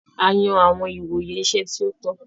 A yan awọn ìwòyè iṣẹ ti o tọ.